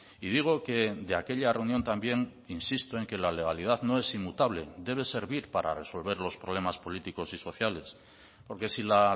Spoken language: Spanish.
y digo que de aquella reunión también insisto en que la legalidad no es inmutable debe servir para resolver los problemas políticos y sociales porque si la